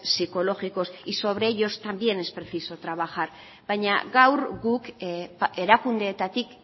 psicológicos y sobre ellos también es preciso trabajar baina gaur guk erakundeetatik